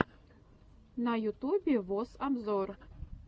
на ютубе вос обзор